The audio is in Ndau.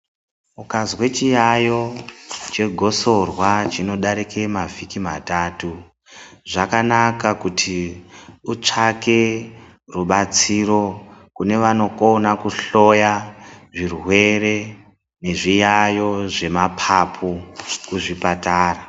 Ukazwe chiyayo chegosorwa chinodarika mavhiki matatu zvakanaka kuti utsvake rubatsiro kune vanokona kuhloya zvirwere nezviyayo zvemapapu kuzvipatara.